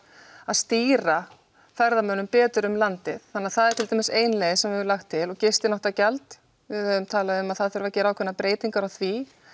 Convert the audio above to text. að stýra ferðamönnum betur um landið þannig að það er til dæmis ein leið sem við höfum lagt til gistináttagjald við höfum talað um að það þurfi að gera ákveðnar breytingar á því